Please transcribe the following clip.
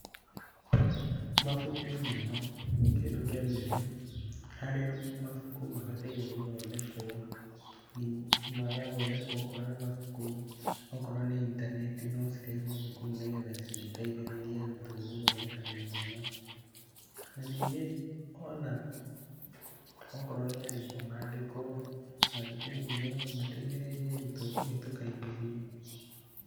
Mabuku nĩmo kĩndũ kĩa mbere, harĩa mabuku mabataire gũthondekwo, magathondekwo okorwo nĩ mabuku, okorwo nĩ intaneti no cirehwo thukuru nĩgetha citeithĩrĩrie arutwo gũthondeka gĩthomo na ningĩ ona okorwo nĩ arimũ, maandĩkwo mathukuru-inĩ mateithĩrĩrie arutwo kũhĩtũka igerio.